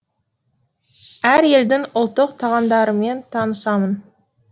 әр елдің ұлттық тағамдарымен танысамын